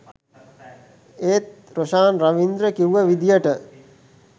ඒත් රොෂාන් රවීන්ද්‍ර කිව්ව විදියට